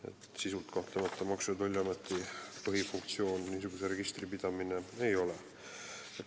Niisuguse registri pidamine oma sisu poolest Maksu- ja Tolliameti põhifunktsioon kahtlemata ei ole.